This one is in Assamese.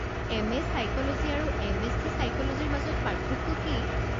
এম.এ. ছাইক'লজী আৰু এম.এছ.চি. ছাইক'লজীৰ মাজত পাৰ্থক্য কি?